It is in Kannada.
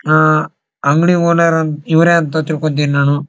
ಆ ಅಂಗಡಿ ಓನರ್ ಇವ್ರೆ ಅಂತ ತಿಳ್ಕೊತೀನಿ ನಾನು.